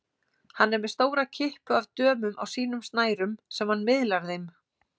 Hann er með stóra kippu af dömum á sínum snærum sem hann miðlar þeim.